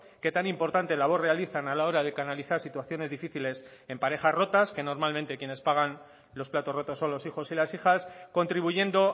que tan importante labor realizan a la hora de canalizar situaciones difíciles en parejas rotas que normalmente quienes pagan los platos rotos son los hijos y las hijas contribuyendo